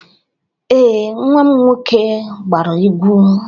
Ee, nwa m nwoke gbara egwu.